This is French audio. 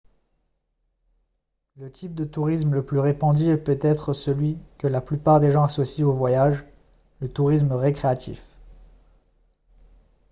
le type de tourisme le plus répandu est peut-être celui que la plupart des gens associent au voyage le tourisme récréatif